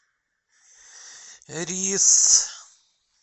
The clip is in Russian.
рис